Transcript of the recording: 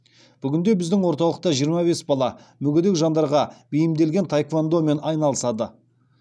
бүгінде біздің орталықта жиырма бес бала мүгедек жандарға бейімделген таеквондомен айналысады